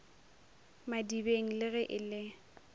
madibeng le ge e le